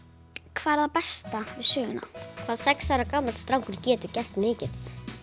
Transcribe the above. hvað er það besta við söguna hvað sex ára gamall strákur getur gert mikið